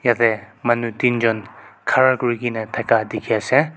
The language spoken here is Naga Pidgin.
jatte manu tinjont khara kori kina thaka dekhi ase.